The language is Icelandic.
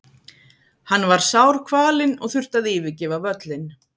Hann var sárkvalinn og þurfti að yfirgefa völlinn.